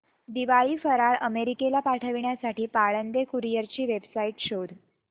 दिवाळी फराळ अमेरिकेला पाठविण्यासाठी पाळंदे कुरिअर ची वेबसाइट शोध